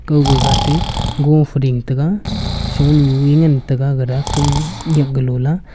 gawga gahtey go fe ding tega sonue ngan taiga gara kawnyak galola.